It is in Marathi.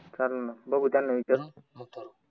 चल न बघू त्यांना विचारू